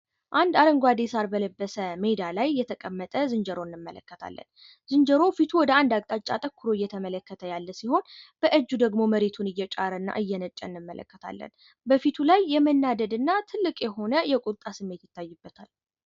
አንድ አረንጓዴ ሳር በለበሰ ሜዳ ላይ የተቀመጠን ዝንጀሮ እንመለከታለን ፤ ዝንጆሮ ወደ አንድ አቅጣጫ ዙሮ እየተመለከተ ያለ ሲሆን ፣ በፊቱ ላይ ትልቅ የቁጣ እና የመናደድ ስሜት ይታይበታል።